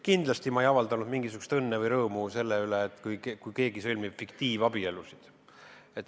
Kindlasti ei avaldanud ma mingisugust õnne või rõõmu selle üle, et keegi sõlmib fiktiivabielu.